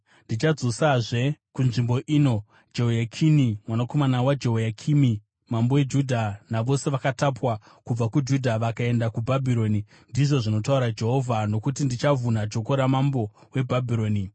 Ndichadzosazve kunzvimbo ino Jehoyakini mwanakomana waJehoyakimi mambo weJudha navose vakatapwa kubva kuJudha, vakaenda kuBhabhironi,’ ndizvo zvinotaura Jehovha, ‘nokuti ndichavhuna joko ramambo weBhabhironi.’ ”